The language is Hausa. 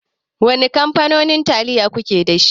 Wane kamfanonin taliyo kuke dashi.